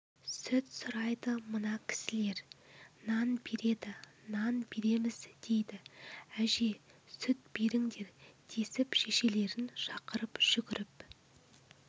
сүт сұрайды мына кісілер нан береді нан береміз дейді әже сүт беріңдер десіп шешелерін шақырып жүгіріп